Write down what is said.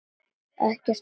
Ekkert annað.